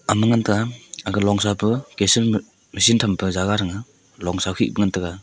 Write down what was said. ama ngan pe aga longsa pa kasin machine tham pe jaga thang a longsa khih pa ngan taiga.